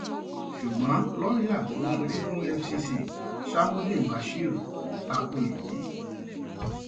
ṣùgbọn lọọyà tó ń ṣojú fún efcc shamuddeen bashir ta ko èyí